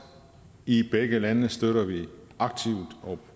i begge lande støtter vi aktivt og